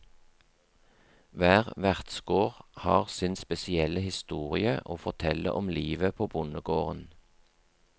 Hver vertsgård har sin spesielle historie å fortelle om livet på bondegården.